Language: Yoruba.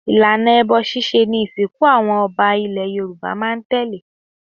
Ìlànà ẹbọ ṣíṣe ni ìsìnkú àwọn ọba ilẹ̀ Yorùbá máa ń tẹ̀lé.